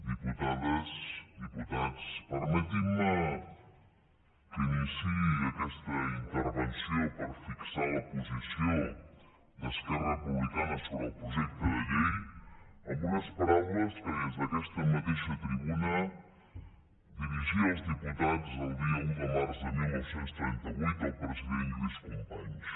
diputades diputats permetinme que iniciï aquesta intervenció per fixar la posició d’esquerra republicana sobre el projecte de llei amb unes paraules que des d’aquesta mateixa tribuna dirigia als diputats el dia un de març de dinou trenta vuit el president lluís companys